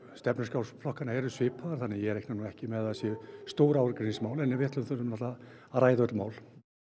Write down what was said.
stefnuskrár flokkanna eru svipaðar þannig að ég reikna nú ekki með að það séu stór ágreiningsmál en við þurfum náttúrulega að ræða öll mál